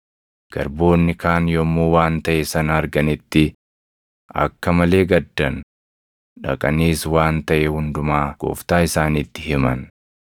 Garboonni kaan yommuu waan taʼe sana arganitti akka malee gaddan; dhaqaniis waan taʼe hundumaa gooftaa isaaniitti himan.